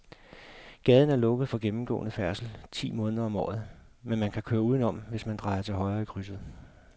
Gaden er lukket for gennemgående færdsel ti måneder om året, men man kan køre udenom, hvis man drejer til højre i krydset.